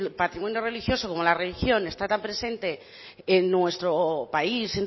patrimonio religioso como la religión está tan presente en nuestro país